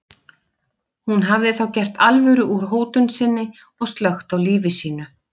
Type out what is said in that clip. Hún hafði þá gert alvöru úr hótun sinni og slökkt á lífi sínu.